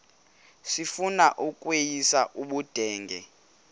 sifuna ukweyis ubudenge